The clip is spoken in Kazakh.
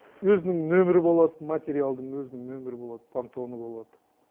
өзінің нөмірі болады материалдың өзінің нөмірі болады пантоны болады